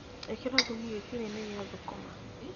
ĩkĩra thumu gĩtinainĩ gĩa thũkũma.